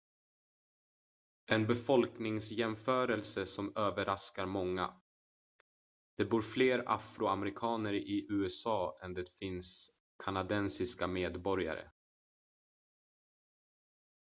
en befolkningsjämförelse som överraskar många det bor fler afroamerikaner i usa än det finns kanadensiska medborgare